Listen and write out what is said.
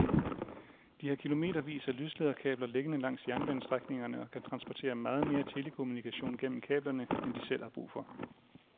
De har kilometervis af lyslederkabler liggende langs jernbanestrækningerne og kan transportere meget mere telekommunikation gennem kablerne end de selv har brug for.